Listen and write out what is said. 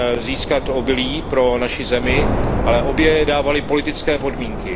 získat obilí pro naši zemi, ale obě dávaly politické podmínky.